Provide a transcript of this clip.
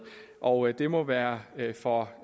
og det må være for